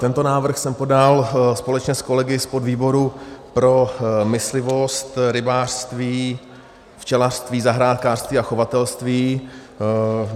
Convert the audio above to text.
Tento návrh jsem podal společně s kolegy z podvýboru pro myslivost, rybářství, včelařství, zahrádkářství a chovatelství.